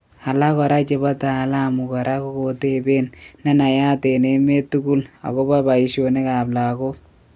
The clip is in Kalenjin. Alak kora chepo taaalamu kora kokotepen ne nayaaat en emet tugul akopa paishonik ap lagok